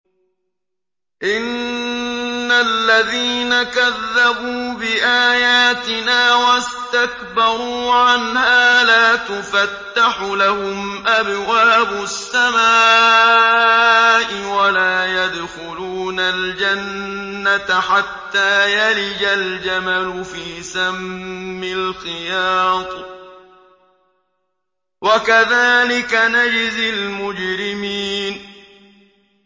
إِنَّ الَّذِينَ كَذَّبُوا بِآيَاتِنَا وَاسْتَكْبَرُوا عَنْهَا لَا تُفَتَّحُ لَهُمْ أَبْوَابُ السَّمَاءِ وَلَا يَدْخُلُونَ الْجَنَّةَ حَتَّىٰ يَلِجَ الْجَمَلُ فِي سَمِّ الْخِيَاطِ ۚ وَكَذَٰلِكَ نَجْزِي الْمُجْرِمِينَ